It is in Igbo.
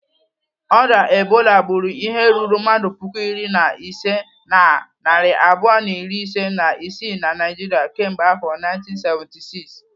Orịa Ebola gburu ihe ruru mmadụ puku iri na ise na narị abụọ na iri ise na isii na Naijiria kemgbe afọ 1976.